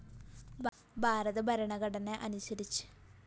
ഭാരത ഭരണഘടനയനുസരിച്ച് നമ്മുടെ മഹത്തായ രാജ്യം ജനങ്ങള്‍ക്കവകാശപ്പെട്ടതാണ്